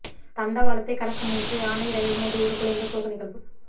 தண்டவாளத்தை கடக்க முயன்ற யானை ரயில் மோதி உருக்குலைந்த சோக நிகழ்வு